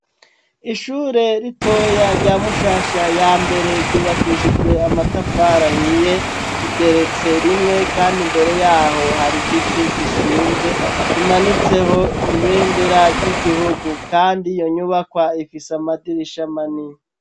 Ishure ritoya rya Mushasha ya mbere ryubakishijwe amatafarahiye nigeretse rimwe kandi mbere yaho hari giti gishinze kimanitseho ibendera ry'igihugu kandi yo nyubakwa ifisa amadirisha manini.